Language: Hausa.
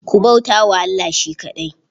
Ku bauta wa Allah shi kaɗai.